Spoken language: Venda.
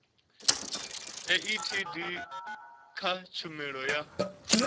a etd kha tshumelo ya